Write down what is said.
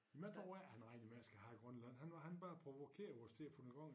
Men jeg tror ikke han regner med at skal have Grønland han var han bare provokerer os til at få gang i